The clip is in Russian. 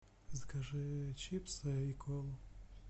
закажи чипсы и колу